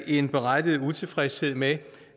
en berettiget utilfredshed med